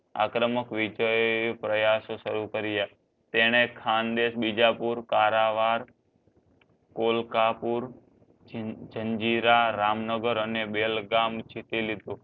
આક્રમક વિજય પ્રયશ સારું કર્યા તેણે ખાનદેશ બીજાપુર કોલકપૂર જાન જંજીર રામનગર અને બેલગામ જીતી લીધું